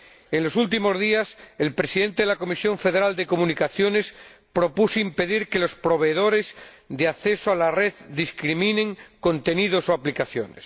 En los últimos días, el presidente de la Comisión Federal de Comunicaciones propuso impedir que los proveedores de acceso a la red discriminen contenidos o aplicaciones.